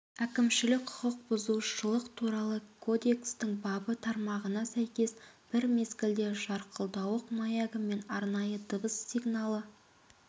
әкімшілік құқық бұзушылық туралы кодекстің бабы тармағына сәйкес бір мезгілде жарқылдауық маягі мен арнайы дыбыс сигналы